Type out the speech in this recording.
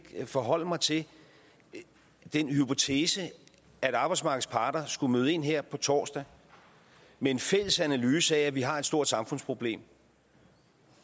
forholde mig til den hypotese at arbejdsmarkedets parter skulle møde ind her på torsdag med en fælles analyse af at vi har et stort samfundsproblem